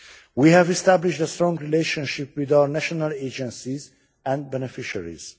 We have established a strong relationship with our national agencies and beneficiaries.